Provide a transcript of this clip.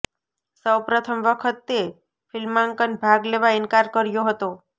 સૌ પ્રથમ વખત તે ફિલ્માંકન ભાગ લેવા ઇનકાર કર્યો હતો